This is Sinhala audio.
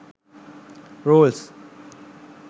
rolls